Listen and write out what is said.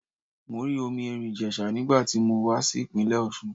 Mo rí omi Èrìn Ìjèsà nígbà tí mo wá sí ìpínlẹ̀ Òsun